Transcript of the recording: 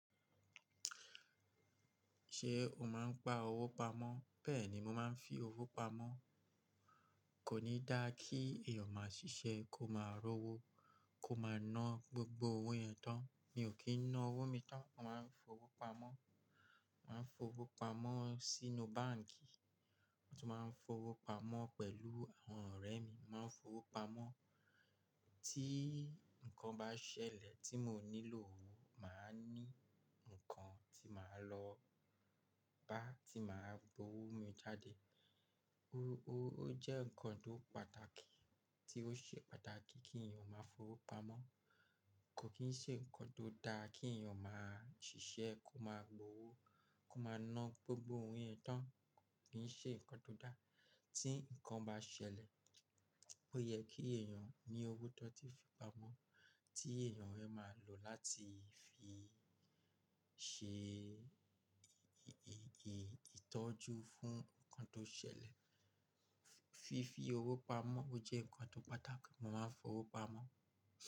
Ṣé o máa ń pa owó pamọ́? Bẹ́ẹ̀ ni, mo máa ń fi owó pamọ́. Kò ní dá kí èèyàn máa ṣiṣẹ́ kó máa rọ́wó, kó máa ná gbogbo owó yẹn tán. Mi ò kí ń ná owó mi tán, màá ń fowó pamọ́. Màá ń fowó pamọ́ sínú báǹkì, mo tún máa ń fowó pamọ́ pẹ̀lú àwọn ọ̀rẹ́ mi. Màá ń fowó pamọ́, tí nǹkan bá ṣẹlẹ̀ tí mo nílò owó, màá ní nǹkan tí màá lọ bá tí màá gbowó mi jáde. Owó jẹ́ nǹkan tó pàtàkì tí ó ṣe pàtàkì kí èèyàn máa fowó pamọ́. Kò kì í ṣe nǹkan tó dá kí èèyàn máa ṣiṣẹ́ kó máa gbowó, kó máa ná gbogbo owó yẹn tán. Kò kì í ṣe nǹkan tó dá. Tí nǹkan bá ṣẹlẹ̀, ó yẹ kí èèyàn ní owó tó ti fi pamọ́ tí èèyàn dẹ máa lò láti fi ṣe ìtọ́jú fún nǹkan tó ṣẹlẹ̀. Fífi owó pamọ́ jẹ́ nǹkan tó pàtàkì, mo máa ń fowó pamọ́